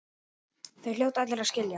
Það hljóta allir að skilja.